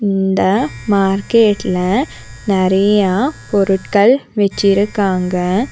இந்த மார்கெட்ல நெறையா பொருட்கள் வச்சிருக்காங்க.